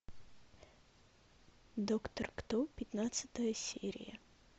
доктор кто пятнадцатая серия